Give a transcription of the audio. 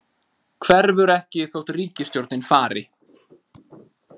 Hverfur ekki þótt ríkisstjórnin fari